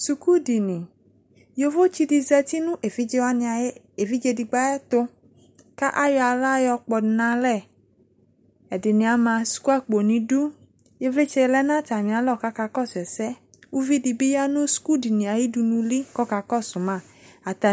Sukudini, yovotse de zati no evidze wane aye, evidze digbo ayeto ko ayɔ ala yɔ kpɔdu no alɛƐdene ama suku akpo no idu, ivlitsɛ lɛ no atame alɔ ko aka kɔso ɛsɛ Uvi de ya no sukudini aye dunuli ko ɔka kɔso ma Ata